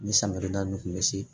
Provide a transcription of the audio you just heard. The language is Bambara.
Ni san birida ninnu kun bɛ se